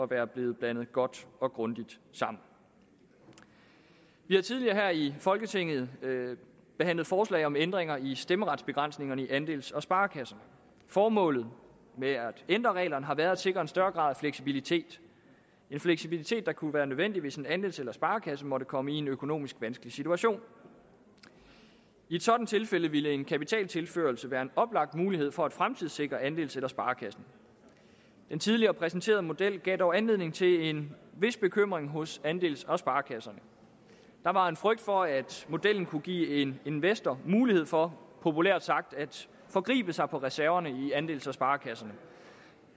være blevet blandet godt og grundigt sammen vi har tidligere her i folketinget behandlet forslag om ændringer i stemmeretsbegrænsningerne i andels og sparekasserne formålet med at ændre reglerne har været at sikre en større grad fleksibilitet en fleksibilitet der kunne være nødvendigt hvis en andels eller sparekasse måtte komme i en økonomisk vanskelig situation i et sådant tilfælde ville en kapitaltilførsel være en oplagt mulighed for at fremtidssikre andels eller sparekassen den tidligere præsenterede model gav dog anledning til en vis bekymring hos andels og sparekasserne der var en frygt for at modellen kunne give en investor mulighed for populært sagt at forgribe sig på reserverne i andels og sparekasserne